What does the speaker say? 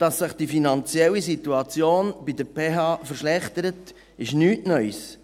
Dass sich die finanzielle Situation der PH verschlechtert, ist nichts Neues.